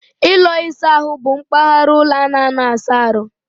Ụlọ ịsa ahụ bụ mpaghara ụlọ a na-anọ asa ahụ.